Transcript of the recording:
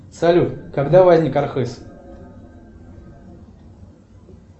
салют когда возник архыз